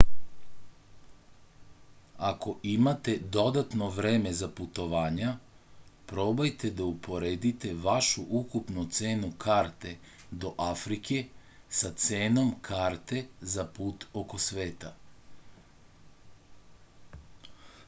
ako imate dodatno vreme za putovanja probajte da uporedite vašu ukupnu cenu karte do afrike sa cenom karte za put oko sveta